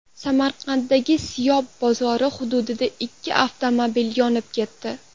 Samarqanddagi Siyob bozori hududida ikki avtomobil yonib ketdi.